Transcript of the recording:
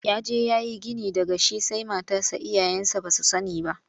Ya je ya yi gini daga shi sai matarsa iyayensa ba su sani ba.